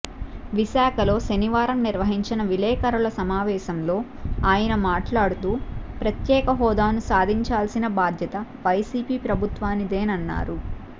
విశాఖలో శనివారం నిర్వహించిన విలేఖరుల సమావేశంలో ఆయన మాట్లాడుతూ ప్రత్యేక హోదాను సాధించాల్సిన బాధ్యత వైసీపీ ప్రభుత్వానిదేనన్నారు